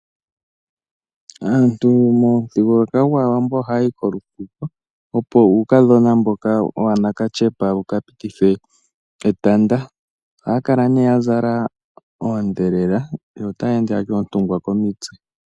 Aantu momuthigululwakalo gwaawambo ohayi kolufuko opo uukadhona mboka wanakatyepa wuka pitithwe etanda. Ohaya kala ne ya zala oondhelela yo taya ende yatya oontungwa komitse.